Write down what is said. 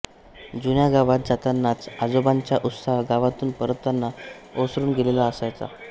जुन्या गावात जातांनाचा आजोबांचा उत्साह गावातून परततांना ओसरुन गेलेला असायचा